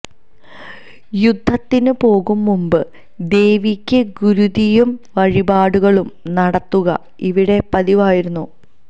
യുദ്ധത്തിന് പോകും മുൻപ് ദേവിക്ക് ഗുരുതിയും വഴിപാടുകളും നടത്തുക ഇവിടെ പതിവായിരുന്നു